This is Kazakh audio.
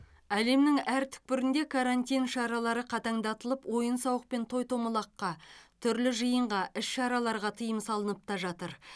әлемнің әр түкпірінде карантин шаралары қатаңдатылып ойын сауық пен той томалаққа түрлі жиынға іс шараларға тыйым салынып та жатыр